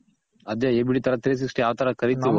ಅದೆ ABD ತರ three ಸಿಕ್ಸ್ಟ ಆ ತರ ಕರಿತಿವೋ